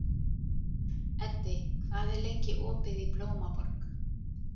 Eddi, hvað er lengi opið í Blómaborg?